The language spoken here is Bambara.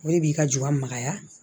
O de b'i ka jamaya